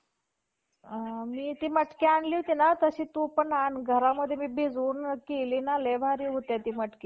एक team जिंकेल किंवा एक team हरेल असं काही तरी ते हा खेळ दोन म्हणजे दोन विरुद्ध विरुद्ध team मध्ये खेळला जाणारा एक खेळ आहे